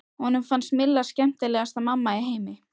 Honum fannst Milla skemmtilegasta mamma í heimi.